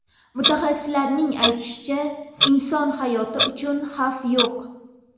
Mutaxassislarning aytishicha, inson hayoti uchun xavf yo‘q.